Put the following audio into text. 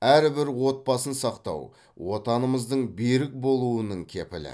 әрбір отбасын сақтау отанымыздың берік болуының кепілі